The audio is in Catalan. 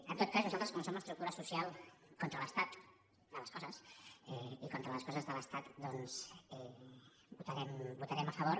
en tot cas nosaltres com que som estructura social contra l’estat de les coses i contra les coses de l’estat doncs hi votarem a favor